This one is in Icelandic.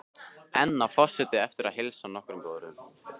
Enn á forseti eftir að heilsa á nokkrum borðum.